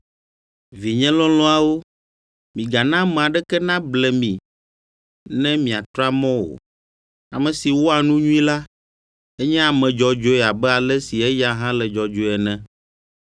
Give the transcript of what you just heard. Vinye lɔlɔ̃awo, migana ame aɖeke nable mi ne miatra mɔ o. Ame si wɔa nu nyui la, enye ame dzɔdzɔe abe ale si eya hã le dzɔdzɔe ene.